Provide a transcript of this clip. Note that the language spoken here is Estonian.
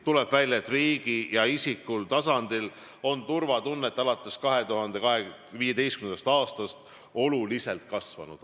Tuleb välja, et riigi ja isiklikul tasandil on turvatunne alates 2015. aastast oluliselt kasvanud.